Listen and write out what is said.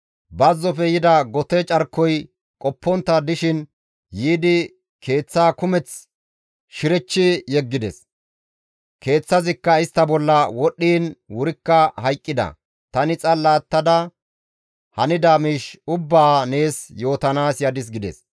Bazzofe yida gote carkoy qoppontta dishin yiidi keeththa kumeth shirechchi yeggides; keeththazikka istta bolla wodhdhiin wurikka hayqqida; tani xalla attada hanida miish ubbaa nees yootanaas yadis» gides.